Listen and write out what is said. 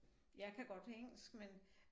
Jeg kan godt engelsk men